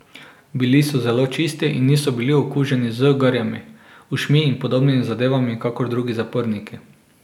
Bili so zelo čisti in niso bili okuženi z garjami, ušmi in podobnimi zadevami kakor drugi zaporniki.